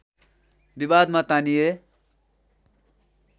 विवादमा तानिए